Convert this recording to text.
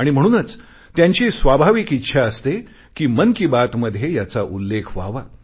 आणि म्हणूनच त्यांची स्वाभाविक इच्छा असते कि मन की बात मध्ये याचा उल्लेख व्हावा